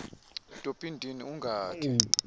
topi ndini ungakhe